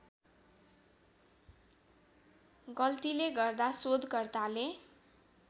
गल्तीले गर्दा सोधकर्ताले